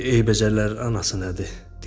Eybəcərlər anası nədir?